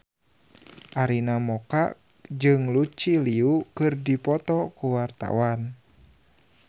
Arina Mocca jeung Lucy Liu keur dipoto ku wartawan